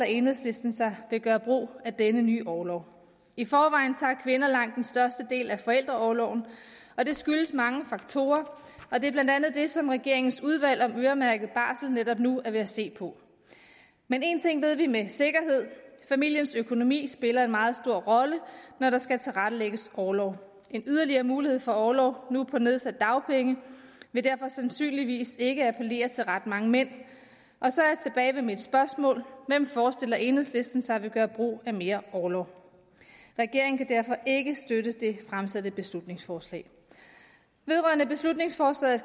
enhedslisten sig vil gøre brug af denne nye orlov i forvejen tager kvinder langt den største del af forældreorloven det skyldes mange faktorer og det er blandt andet det som regeringens udvalg om øremærket barsel netop nu er ved at se på men én ting ved vi med sikkerhed familiens økonomi spiller en meget stor rolle når der skal tilrettelægges orlov en yderligere mulighed for orlov nu på nedsatte dagpenge vil derfor sandsynligvis ikke appellere til ret mange mænd og så er jeg tilbage ved mit spørgsmål hvem forestiller enhedslisten sig vil gøre brug af mere orlov regeringen kan derfor ikke støtte det fremsatte beslutningsforslag vedrørende beslutningsforslaget